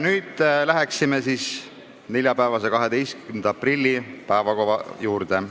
Nüüd läheme neljapäeva, 12. aprilli päevakava juurde.